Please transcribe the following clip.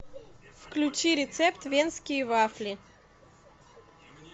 включи рецепт венские вафли